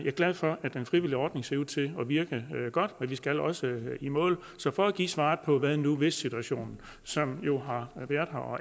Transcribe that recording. er glad for at den frivillige ordning ser ud til at virke godt men vi skal også i mål så for at give svaret på hvad nu hvis situationen som jo har været her og